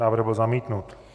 Návrh byl zamítnut.